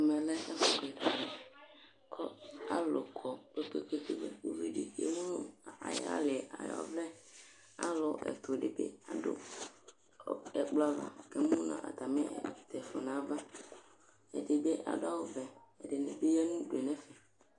ɛmɛ lɛ ɛfo keka k'alò kɔ kpekpekpe ko uvi di emu no ay'ali ay'ɔvlɛ alo ɛto di bi ado ɛkplɔ ava k'emu no atami tɛko n'ava ɛdi bi ado awu vɛ ɛdini bi ya no udue n'ɛfɛ